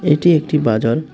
এটি একটি বাজার।